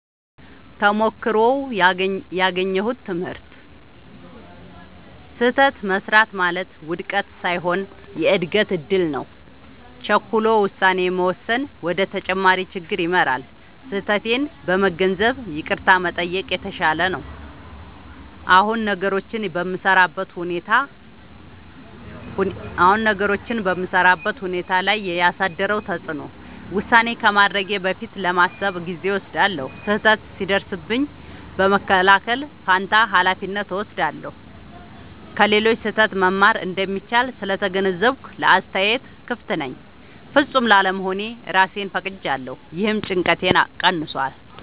ተሞክሮው ያገኘሁት ትምህርት፦ · ስህተት መሥራት ማለት ውድቀት ሳይሆን የእድገት እድል ነው። · ቸኩሎ ውሳኔ መወሰን ወደ ተጨማሪ ችግር ይመራል። · ስህተቴን በመገንዘብ ይቅርታ መጠየቅ የተሻለ ነው። አሁን ነገሮችን በምሠራበት ሁኔታ ላይ ያሳደረው ተጽዕኖ፦ · ውሳኔ ከማድረጌ በፊት ለማሰብ ጊዜ እወስዳለሁ። · ስህተት ሲደርስብኝ በመከላከል ፋንታ ኃላፊነት እወስዳለሁ። · ከሌሎች ስህተት መማር እንደሚቻል ስለተገነዘብኩ ለአስተያየት ክፍት ነኝ። · ፍጹም ላለመሆን እራሴን ፈቅጄለታለሁ — ይህም ጭንቀቴን ቀንሷል።